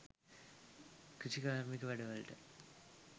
කෘෂිකාර්මික වැඩවලට